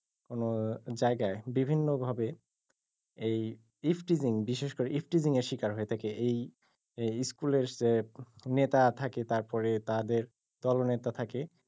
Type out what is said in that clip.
কোনো জায়গায় বিভিন্নভাবে এই ifteasing বিশেষ করে ifteasing এর শিকার হয়ে থাকে এই এই school এর নেতা থাকে তারপরে তাদের দলনেতা থাকে,